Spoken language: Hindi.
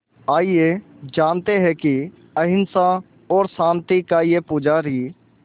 आइए जानते हैं कि अहिंसा और शांति का ये पुजारी